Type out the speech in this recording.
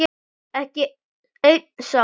Ekki einn sálm.